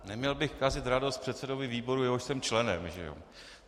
Neměl bych kazit radost předsedovi výboru, jehož jsem členem, že jo.